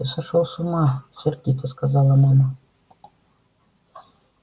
ты сошёл с ума сердито сказала мама